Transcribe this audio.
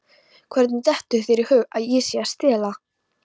Hvernig dettur þér í hug að ég sé að stela?